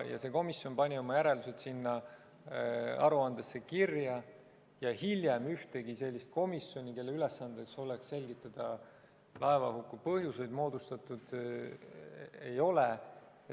See komisjon pani oma järeldused sinna aruandesse kirja ja hiljem ühtegi sellist komisjoni, kelle ülesanne oleks selgitada laevahuku põhjuseid, moodustatud ei ole.